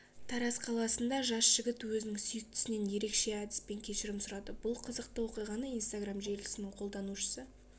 тараз қаласында жас жігіт өзінің сүйіктісінен ерекше әдіспен кешірім сұрады бұл қызықты оқиғаны инстаграм желісінің қолданушысы